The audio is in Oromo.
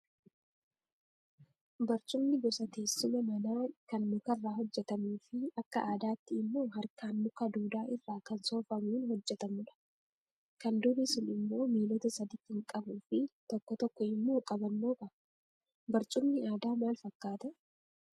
Barcumni gosa teessuma manaa kan mukarraa hojjatamuu fi akka aadaatti immoo harkaan muka duudaa irraa kan soofamuun hojjatamudha. Kan durii sun immoo miilota sadii kan qabuu fi tokko tokko immoo qabannoo qaba. Barcumni aadaa maal fakkaata?